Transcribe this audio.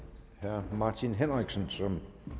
herre martin henriksen som